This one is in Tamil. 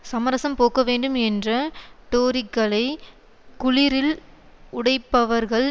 சமரச போக்க வேண்டும் என்ற டோரிக்களை குளிரில் உடைப்பவர்கள்